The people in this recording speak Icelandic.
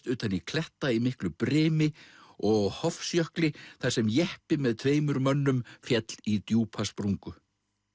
utan í kletta í miklu brimi og á Hofsjökli þar sem jeppi með tveimur mönnum féll í djúpa sprungu